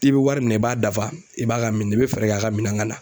I bɛ wari minɛ i b'a dafa i b'a ka min nin bɛ fɛɛrɛ k'a ka minan ka na.